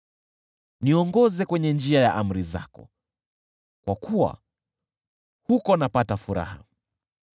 Niongoze kwenye njia ya amri zako, kwa kuwa huko napata furaha.